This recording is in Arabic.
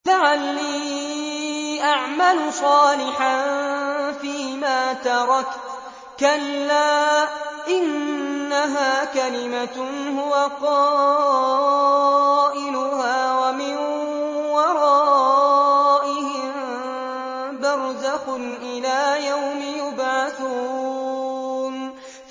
لَعَلِّي أَعْمَلُ صَالِحًا فِيمَا تَرَكْتُ ۚ كَلَّا ۚ إِنَّهَا كَلِمَةٌ هُوَ قَائِلُهَا ۖ وَمِن وَرَائِهِم بَرْزَخٌ إِلَىٰ يَوْمِ يُبْعَثُونَ